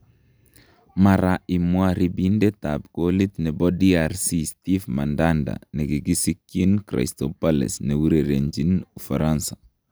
Mara imwa ribindet ab kolit nebo DRC Steve mandanda nekikisikyin Crystal Palace ne urerenjin ufaransa